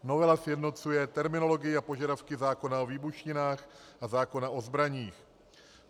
Novela sjednocuje terminologii a požadavky zákona o výbušninách a zákona o zbraních.